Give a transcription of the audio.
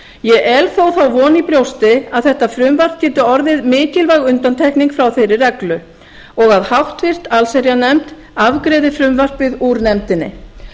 ég el þó þá von í brjósti að þetta frumvarp geti orðið mikilvæg undantekning frá þeirri reglu og háttvirta allsherjarnefnd afgreiði frumvarpið úr nefndinni